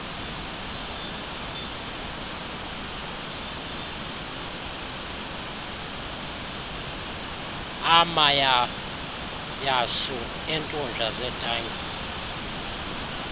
amayauyasu eentunja zetanki